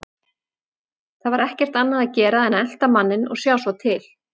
Það var ekkert annað að gera en að elta manninn og sjá svo til.